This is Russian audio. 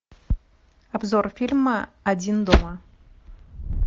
обзор фильма один дома